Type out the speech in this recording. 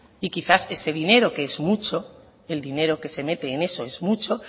y quizás ese dinero que es mucho el dinero que se mete en eso es mucho